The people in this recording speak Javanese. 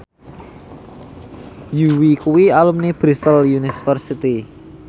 Yui kuwi alumni Bristol university